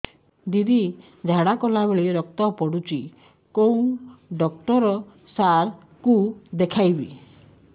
ଦିଦି ଝାଡ଼ା କଲା ବେଳେ ରକ୍ତ ପଡୁଛି କଉଁ ଡକ୍ଟର ସାର କୁ ଦଖାଇବି